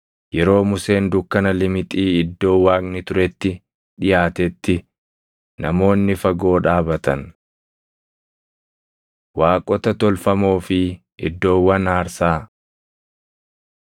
Yeroo Museen dukkana limixii iddoo Waaqni turetti dhiʼaatetti, namoonni fagoo dhaabatan. Waaqota Tolfamoo fi Iddoowwan Aarsaa